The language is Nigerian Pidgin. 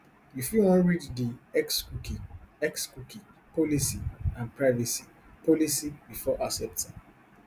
you fit wan read di xcookie xcookie policyandprivacy policybefore accepting